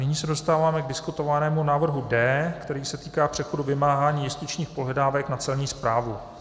Nyní se dostáváme k diskutovanému návrhu D, který se týká přechodu vymáhání justičních pohledávek na Celní správu.